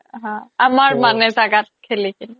haa আমাৰ মানে জাগাত খেলি কিনে